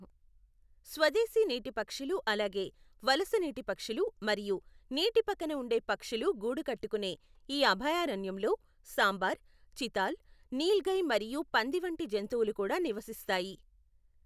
స్వదేశీ నీటి పక్షులు అలాగే వలస నీటి పక్షులు మరియు నీటి పక్కన ఉండే పక్షులు గూడు కట్టుకునే ఈ అభయారణ్యంలో సాంబార్, చితాల్, నీల్గై మరియు పంది వంటి జంతువులు కూడా నివసిస్తాయి.